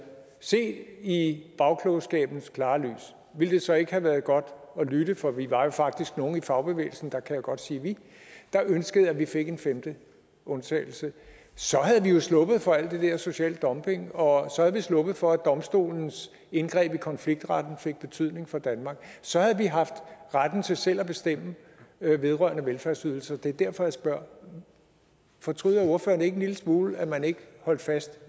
set i bagklogskabens klare lys ville det så ikke være godt at lytte for vi var faktisk nogle i fagbevægelsen der kan jeg jo godt sige vi der ønskede at vi fik en femte undtagelse så havde vi jo sluppet for alt det der social dumping og så havde vi sluppet for at domstolens indgreb i konfliktretten fik betydning for danmark så havde vi haft retten til selv at bestemme vedrørende velfærdsydelser det er derfor jeg spørger fortryder ordføreren ikke en lille smule at man ikke holdt fast